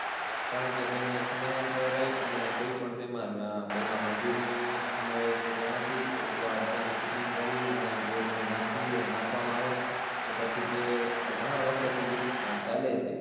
કારણકે તેને સમયાંતરે અને કોઈ પણ તેમાં આહ તેમાં મજૂરનો સમાવેશ થતો નથી. એકવાર તેની fitting કરી અને જો તેને નાખીએ, નાખવામાં આવે. તો પછી તે ઘણાં વરસો સુધી ચાલે છે.